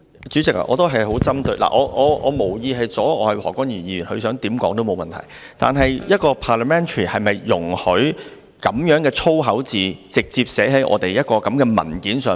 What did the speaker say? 主席，我無意阻礙何君堯議員，他想怎樣說也沒有問題，但一個 parliamentary 環境是否容許這樣的粗口字眼直接寫在立法會的文件上？